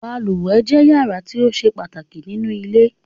Balùwẹ̀ jẹ́ yàrá tí ó ṣe pàtàkì nínú ilé